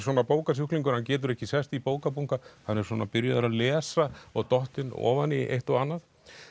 bókasjúklingar hann getur ekki sest í bókabunka hann er svona byrjaður að lesa og dottinn ofan í eitt og annað